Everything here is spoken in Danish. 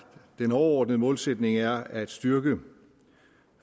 den overordnede målsætning er at styrke